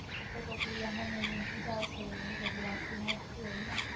મને એમ ખિજાવશેને એ બધી વાતો નડતી હોય ને.